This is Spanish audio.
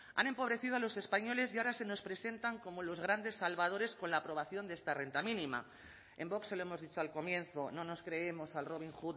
han empobrecido a los españoles y ahora se nos presentan como los grandes salvadores con la aprobación de esta renta mínima en vox se lo hemos dicho al comienzo no nos creemos al robin